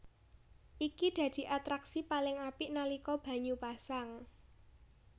Iki dadi atraksi paling apik nalika banyu pasang